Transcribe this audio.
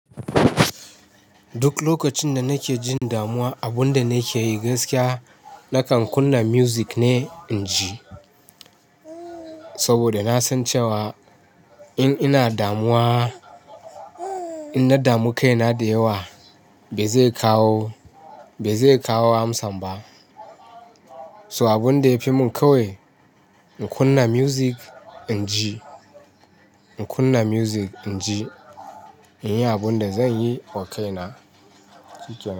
Duk lokacin da nake jin damuwa, abin da nake yi gaskiya nakan kunna music ne in ji. Saboda na san cewa in ina damuwa, in na damu kaina da yawa bai zai kawo, bai zai kawo amsan ba. So abin da ya fi mun ƙawi in kunna music in ji, in kunna music in ji, in yi abin da zan yi okaina.